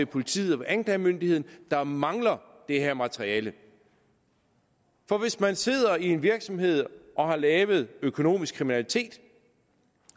politiet og anklagemyndigheden mangler det her materiale hvis man sidder i en virksomhed og har lavet økonomisk kriminalitet